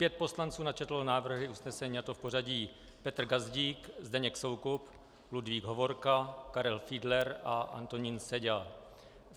Pět poslanců načetlo návrhy usnesení, a to v pořadí Petr Gazdík, Zdeněk Soukup, Ludvík Hovorka, Karel Fiedler a Antonín Seďa.